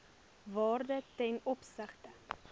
waarde ten opsigte